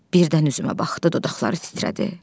Birdən üzümə baxdı, dodaqları titrədi.